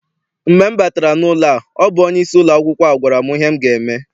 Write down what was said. Mgbe m batara n'ụlọ a ọ bụ onyeisi ụlọakwụkwọ a gwara m ihe m ga eme.